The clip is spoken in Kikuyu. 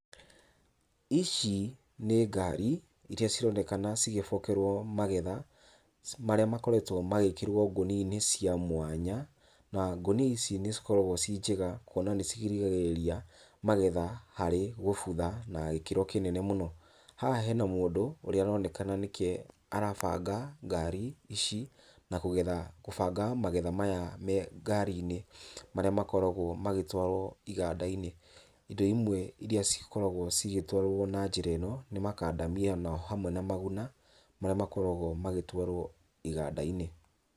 Ici nĩ ngari, irĩa cironekana cigĩbokerwo magetha, marĩa makoretwo magĩkĩrwo ngũnia-inĩ cia mwanya, na ngũnia ici nĩ cikoragwo cinjega, kwona nĩ cirigagĩrĩria magetha harĩ gũbutha na gĩkĩro kinene mũno, haha he na mũndũ, ũrĩa uronekana nĩke arabanga ngari ici, na kugetha gũbanga magetha maya me ngari-inĩ marĩa makoragwo magĩtwarwo iganda-inĩ, indo imwe irĩa cikoragwo cigĩtwarwo na njĩra ĩno, nĩ makandamia na hamwe na maguna, marĩa makoragwo magĩtwarwo iganda-inĩ.